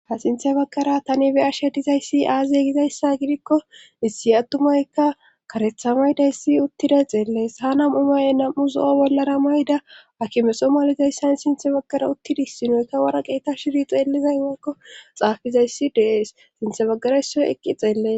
Ha sinthe baggara tani be ashe dizayssi aaziye gizayssa gidikko issi attumaykka karetha maydayssi uttida xeellees ha nam'u maye nam'u zo'o bollara mayda akimeso malizayssan sinthe baggara uttidis sinoyka wara qeeta shiri xeelizay makko xaafizayssi dees sinthe baggarayssoy eqqi xeellees.